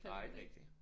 Nej ikke rigtig